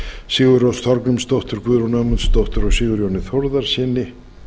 sigurrós þorgrímsdóttur guðrúnu ögmundsdóttur og sigurjóni þórðarsyni